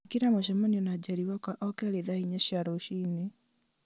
ĩkĩra mũcemanio na njeri wakwa o keerĩ thaa inya cia rũciinĩ